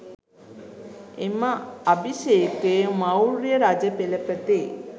එම අභිෂේකය මෞර්ය රජ පෙළපතේ